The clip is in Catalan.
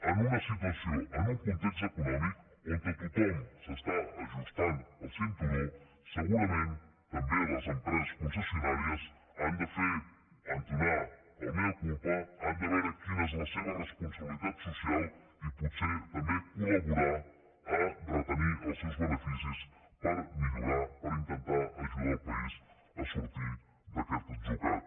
en una situació en un context econòmic on tothom s’ajusta el cinturó segurament també les empreses concessionàries han d’entonar el mea culpade veure quina és la seva responsabilitat social i potser també col·laborar a retenir els seus beneficis per intentar ajudar el país a sortir d’aquest atzucac